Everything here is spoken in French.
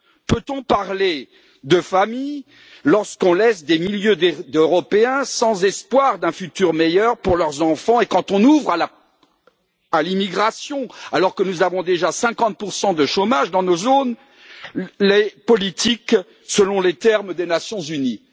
Peut on parler de famille lorsqu'on laisse des milliers d'Européens sans espoir d'un avenir meilleur pour leurs enfants et quand on ouvre à l'immigration, alors que nous avons déjà 50 de chômage dans nos zones, les politiques, selon les termes des Nations unies?